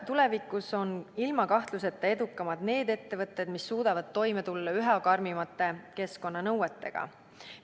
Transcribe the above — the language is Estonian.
Tulevikus on ilma kahtluseta edukamad need ettevõtted, kes suudavad toime tulla üha karmimate keskkonnanõuetega.